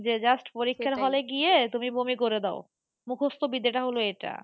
যে just পরীক্ষার hall এ গিয়ে তুমি বমি করে দাও। মুখস্থ বিদ্যাটা হল এটা।